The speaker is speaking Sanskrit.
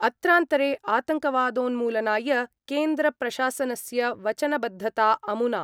अत्रान्तरे आतङ्कवादोन्मूलनाय केन्द्रप्रशासनस्य वचनबद्धता अमुना